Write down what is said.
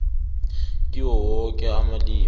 kiwo woke amalimi